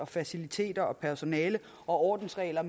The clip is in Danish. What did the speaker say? faciliteter personale og ordensregler